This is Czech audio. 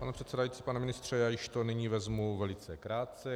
Pane předsedající, pane ministře, já to již nyní vezmu velice krátce.